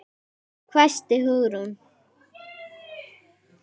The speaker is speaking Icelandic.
hvæsti Hugrún.